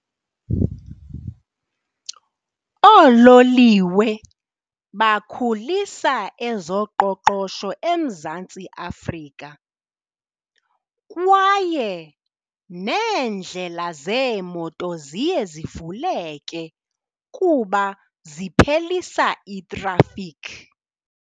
Oololiwe bakhulisa ezoqoqosho eMzantsi Afrika kwaye neendlela zeemoto ziye zivuleke kuba ziphelisa itrafikhi.